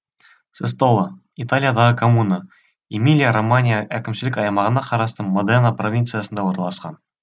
сестола италиядағы коммуна эмилия романья әкімшілік аймағына қарасты модена провинциясында орналасқан